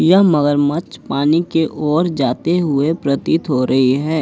यह मगरमच्छ पानी के ओर जाते हुए प्रतीत हो रही है।